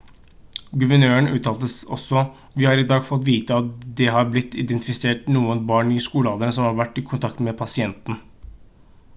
guvernøren uttalte også: «vi har i dag fått vite at det har blitt identifisert noen barn i skolealder som har vært i kontakt med pasienten»